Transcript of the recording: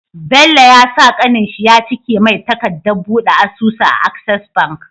Bello ya sa kanin shi yacike mai takadat buɗe asusu a access bank